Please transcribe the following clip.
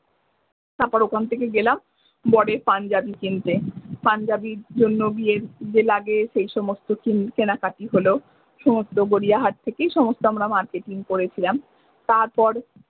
তারপর ওখান থেকে গেলাম বরের পাঞ্জাবি কিনতে পাঞ্জাবির জন্য বিয়ের যে লাগে সেই সমস্ত কেনাকাটি লহো সমস্ত গরিয়াহাট থেকেই সমস্ত আমরা মার্কেটিং করেছিলাম তারপর।